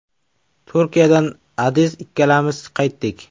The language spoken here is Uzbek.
Turkiyadan Adiz ikkalamiz qaytdik.